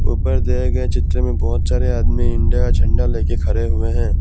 ऊपर दिए गए चित्र में बहोत सारे आदमी इंडिया का झंडा लेके खरे हुए हैं।